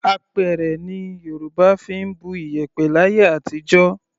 Apẹ̀rẹ̀ ni Yorùbá fi ń bu iyẹ̀pẹ̀ láyé àtijọ́.